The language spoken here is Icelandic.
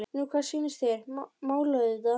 Nú hvað sýnist þér. mála auðvitað!